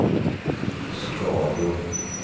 skador